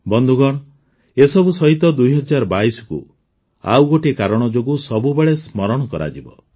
ବନ୍ଧୁଗଣ ଏସବୁ ସହିତ ୨୦୨୨କୁ ଆଉ ଗୋଟିଏ କାରଣ ଯୋଗୁଁ ସବୁବେଳେ ସ୍ମରଣ କରାଯିବ